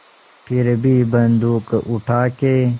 फिर भी बन्दूक उठाके